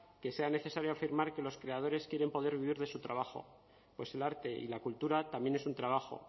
que sea necesario afirmar que los creadores quieren poder vivir de su trabajo pues el arte y la cultura también es un trabajo